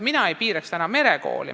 Mina ei piiraks merekoole.